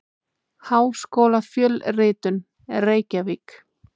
Háskólafjölritun: Reykjavík.